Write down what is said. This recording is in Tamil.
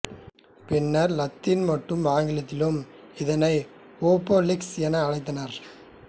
பின்னர் லத்தீன் மற்றும் ஆங்கிலத்திலும் இதனை ஒபேலிஸ்க் என அழைத்தனர்